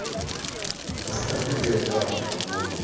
опять они найти аккаунтов не могут